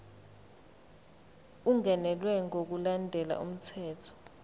ungenelwe ngokulandela umthetho